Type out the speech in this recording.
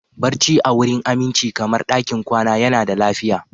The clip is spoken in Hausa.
Barci a wurin aminci kamar ɗakin kwana yana da lafiya